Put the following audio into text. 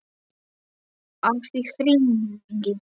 Afi hringir